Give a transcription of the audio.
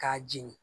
K'a jeni